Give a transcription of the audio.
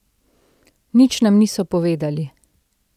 Nič nam niso povedali.